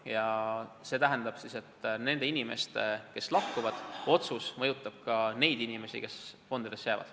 Ja see tähendab seda, et lahkuvate inimeste otsused mõjutavad ka neid inimesi, kes fondidesse jäävad.